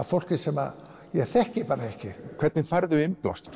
fólki sem ég þekki bara ekki hvernig færðu innblástur